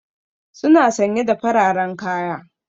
Suna sanye da fararen kaya.